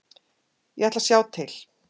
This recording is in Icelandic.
Ég ætla að sjá til.